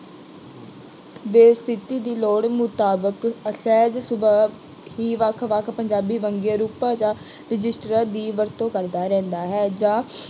ਦੇ ਸਥਿਤੀ ਦੀ ਲੋੜ ਮੁਤਾਬਿਕ ਸਹਿਜ ਸੁਭਾਅ ਹੀ ਵੱਖ ਵੱਖ ਪੰਜਾਬੀ ਵੰਨਗੀ ਰੂਪਾਂ ਜਾਂ ਰਜਿਸਟਰਾਂ ਦੀ ਵਰਤੋਂ ਕਰਦਾ ਰਹਿੰਦਾ ਹੈ ਜਾਂ